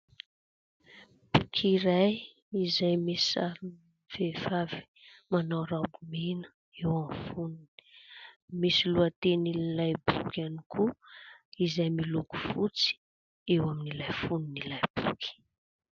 Boky iray izay misy sarina vehivavy manao raoby mena eo amin'ny fonony. Misy lohatenin'ilay boky ihany koa, izay miloko fotsy eo amin'ilay fonon'ilay boky.